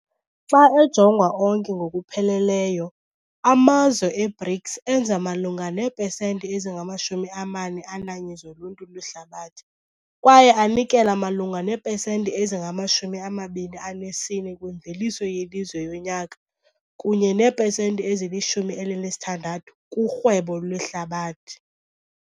Xa ejongwa onke ngokupheleleyo, amazwe e-BRICS enza malunga neepesenti ezingama-41 zoluntu lwehlabathi kwaye anikela malunga neepesenti ezingama-24 kwimveliso yelizwe yonyaka kunye neepesenti ezili-16 kurhwebo lwehlabathi.